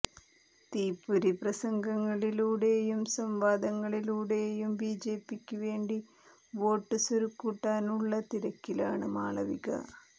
തീപ്പൊരി പ്രസംഗങ്ങളിലൂടെയും സംവാദങ്ങളിലൂടെയും ബിജെപിക്ക് വേണ്ടി വോട്ട് സ്വരുക്കൂട്ടാനുള്ള തിരക്കിലാണ് മാളവിക